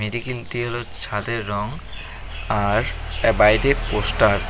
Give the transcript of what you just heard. ছাদের রং আর এর বাইরে পোস্টার ।